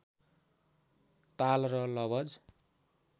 ताल र लवज